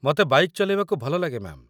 ମତେ ବାଇକ୍‌ ଚଲେଇବାକୁ ଭଲଲାଗେ, ମ୍ୟା'ମ୍ ।